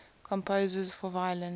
composers for violin